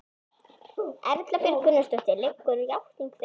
Erla Björg Gunnarsdóttir: Liggur játning fyrir?